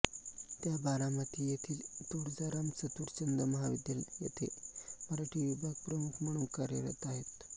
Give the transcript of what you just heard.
त्या बारामती येथील तुळजाराम चतुरचंद महाविद्यालय येथे मराठी विभाग प्रमुख म्हणून कार्यरत आहेत